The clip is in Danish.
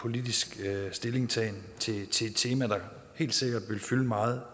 politisk stillingtagen til et tema der helt sikkert vil fylde meget